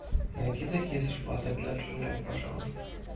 найди такие зарплаты для лизунов пожалуйста